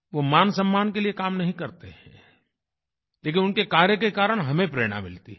वो मानसम्मान के लिए काम नहीं करते हैं लेकिन उनके कार्य के कारण हमें प्रेरणा मिलती है